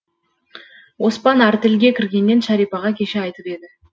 оспан артельге кіргенін шәрипаға кеше айтып еді